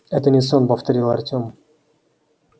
это не сон повторил артём